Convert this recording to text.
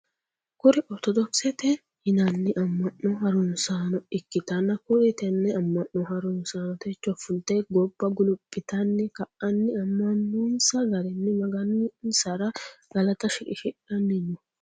Kuri ortodokisete yinanni amma'no harunsaano ikkitanna kuri tenne amma'no harunsaano techo fulte gobba guluphitanni ka"anni amma'nossa garinni maganissara galata shiqishidhanni no.